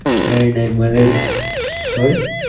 કઈ નઈ sorry